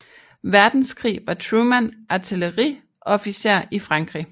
Verdenskrig var Truman artilleriofficer i Frankrig